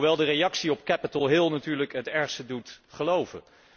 Hoewel de reactie op Capitol Hill natuurlijk het ergste doet geloven.